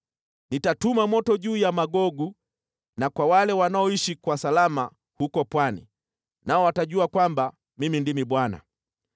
Nitatuma moto juu ya Magogu na kwa wale wanaoishi kwa salama huko pwani, nao watajua kwamba Mimi ndimi Bwana .